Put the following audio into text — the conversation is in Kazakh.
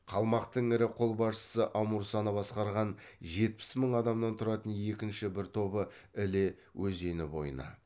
қалмақтың ірі қолбасшысы амурсана басқарған жетпіс мың адамнан тұратын екінші бір тобы іле өзені бойына